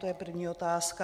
To je první otázka.